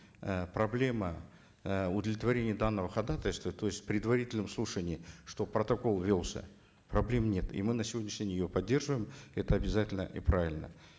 э проблема э удовлетворения данного ходатайства то есть в предварительном слушании чтобы протокол велся проблем нет и мы на сегодняшний день ее поддерживаем это обязательно и правильно